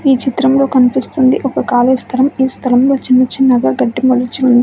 ఈ చిత్రంలో కనిపిస్తుంది ఒక ఖాళీ స్థలం. ఈ స్థలంలో చిన్న చిన్నగా గడ్డి మొలిచి ఉంది.